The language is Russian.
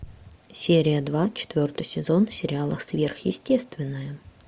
серия два четвертый сезон сериала сверхъестественное